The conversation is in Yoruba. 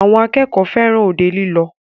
Àwọn akẹ́kọ̀ọ́ fẹràn òde lílọ.